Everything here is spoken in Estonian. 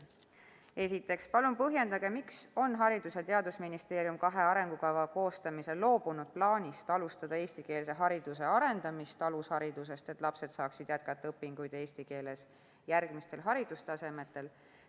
Esiteks: palun põhjendage, miks on Haridus- ja Teadusministeerium kahe arengukava koostamisel loobunud plaanist alustada eestikeelse hariduse arendamist alusharidusest, et lapsed saaksid jätkata õpinguid eesti keeles järgmistel haridustasemetel.